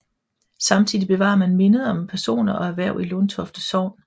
Samtidig bevarer man mindet om personer og erhverv i Lundtofte sogn